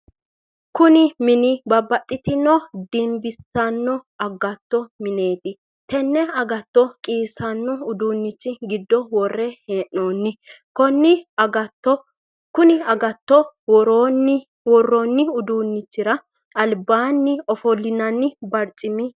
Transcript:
Kunni mini babbaxitino dimbisano agatto mineeti. Tenne agatto qiisanno uduunnichi gido wore hee'noonni. Konni agatto woroonni uduunichira albaanni ofolinnanni barcimi no.